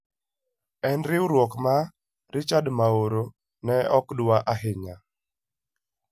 En riwruok ma Richad Maoro ne ok dwar ahinya.